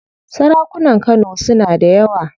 Sarakunan Kano suna da yawa.